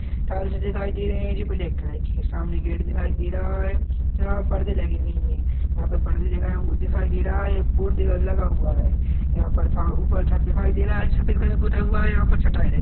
tiles दिखाई दे रहे है जो ब्लैक कलर के है सामने गेट दिखाई दे रहा है यहाँ पर्दे लगे हुए है यहाँ पर पर्दे दिखाई उ दिखाई दे रहा है यह पॉट दे लगा हुआ है यहाँ पर सा ऊपर छत दिखाई दे रहा है जो सफ़ेद कलर पुता हुआ है यहाँ पर चटाई लग --